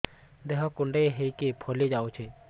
ଦେହ କୁଣ୍ଡେଇ ହେଇକି ଫଳି ଯାଉଛି